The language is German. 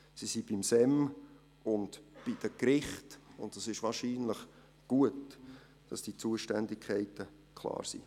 Sie sind beim SEM und bei den Gerichten, und es ist wahrscheinlich gut, dass diese Zuständigkeiten klar sind.